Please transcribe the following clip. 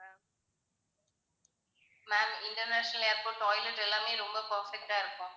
ma'am international airport toilet எல்லாமே ரொம்ப perfect ஆ இருக்கும்.